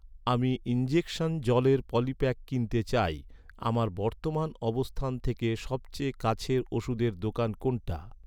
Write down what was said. আমি ইনজেকশন জলের পলিপ্যাক কিনতে চাই, আমার বর্তমান অবস্থান থেকে সবচেয়ে কাছের ওষুধের দোকান কোনটা?